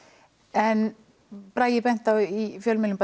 en Bragi benti á í fjölmiðlum